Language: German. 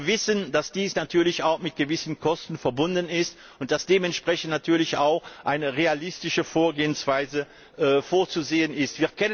Wir wissen, dass dies natürlich auch mit gewissen Kosten verbunden ist und dass dementsprechend natürlich auch eine realistische Vorgehensweise vorzusehen ist.